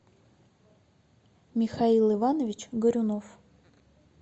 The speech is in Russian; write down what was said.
михаил иванович горюнов